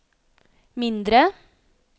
mindre